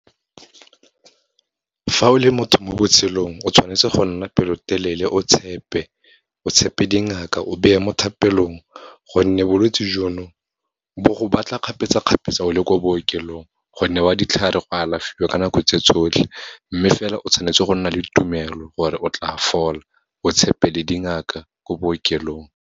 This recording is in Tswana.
Fa o le motho mo botshelong, o tshwanetse go nna pelotelele o tshepe, o tshepe dingaka, o beye mo thapelong, gonne bolwetse jono bo go batla kgapetsa-kgapetsa o le ko bookelong. Go newa ditlhare, go alafiwa ka nako tse tsotlhe, mme fela o tshwanetse go nna le tumelo, gore o tla fola, o tshepe le dingaka ko bookelong.